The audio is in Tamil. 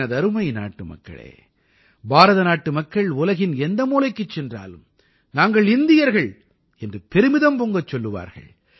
எனதருமை நாட்டுமக்களே பாரதநாட்டு மக்கள் உலகின் எந்த மூலைக்குச் சென்றாலும் நாங்கள் இந்தியர்கள் என்று பெருமிதம் பொங்கச் சொல்லுவார்கள்